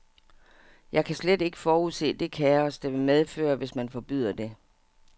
Jeg kan slet ikke forudse det kaos, det vil medføre, hvis man forbyder det.